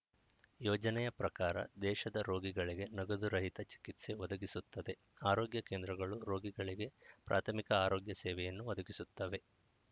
ಯೋಜನೆಯ ಪ್ರಕಾರ ದೇಶದ ರೋಗಿಗಳಿಗೆ ನಗದು ರಹಿತ ಚಿಕಿತ್ಸೆ ಒದಗಿಸುತ್ತದೆ ಆರೋಗ್ಯ ಕೇಂದ್ರಗಳು ರೋಗಿಗಳಿಗೆ ಪ್ರಾಥಮಿಕ ಆರೋಗ್ಯ ಸೇವೆಯನ್ನು ಒದಗಿಸುತ್ತವೆ